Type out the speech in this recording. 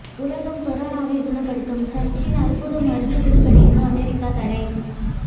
உலகம் கொரோனாவை குணப்படுத்தும் சர்ச்சின் அற்புத மருந்து விற்பனைக்கு அமெரிக்கா தடை